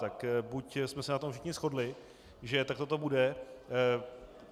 Tak buď jsme se na tom všichni shodli, že takhle to bude.